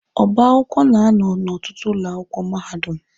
Ọba akwụkwọ na-anọ n'ọtụtụ ụlọ akwụkwọ mahadum.